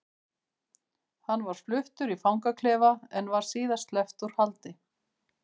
Hann var fluttur í fangaklefa en var síðar sleppt úr haldi.